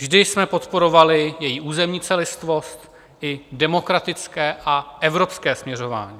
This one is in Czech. Vždy jsme podporovali její územní celistvost, její demokratické a evropské směřování.